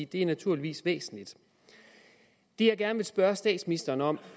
det er naturligvis væsentligt det jeg gerne vil spørge statsministeren om